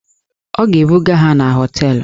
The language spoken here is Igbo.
Ọ ga-ebuga ha na họteelụ.